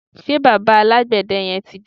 ṣe bàbá alágbède yẹn ti dé?